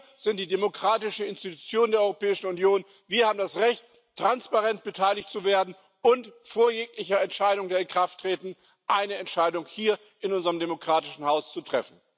Wir sind die demokratische Institution der Europäischen Union, wir haben das Recht, transparent beteiligt zu werden und vor jeglichem Inkrafttreten eine Entscheidung hier in unserem demokratischen Haus zu treffen.